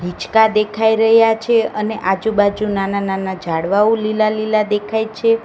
હીચકા દેખાય રહ્યા છે અને આજુબાજુ નાના નાના ઝાડવાઓ લીલા લીલા દેખાય છે.